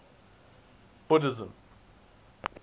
buddhism